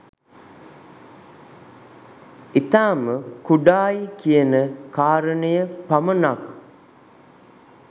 ඉතාම කුඩායි කියන කාරණය පමණක්